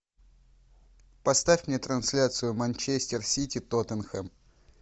поставь мне трансляцию манчестер сити тоттенхэм